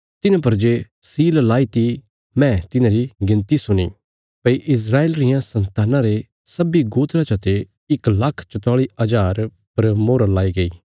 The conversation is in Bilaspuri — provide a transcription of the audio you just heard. तिन्हां पर जे सील लाईती मैं तिन्हांरी गिणती सुणी भई इस्राएल रियां सन्तानां रे सब्बीं गोत्रा चते इक लाख चौताली हज़ार पर मोहर लाई गई